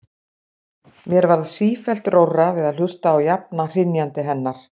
Mér varð sífellt rórra við að hlusta á jafna hrynjandi hennar.